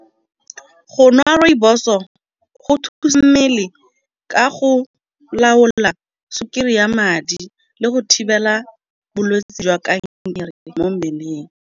Go nwa rooibos-o go thusa mmele ka go laola sukiri ya madi le go thibela bolwetse jwa kankere mo mmeleng.